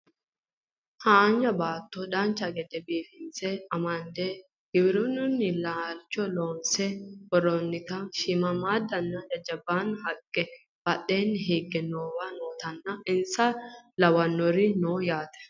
haanja baatto dancha gede biifinse amande giwirinnu laalcho loonse worrroonnita shiimmaaddanna jajjabba haqqe badheenni higge noowa nootanna insa lawannori no yaate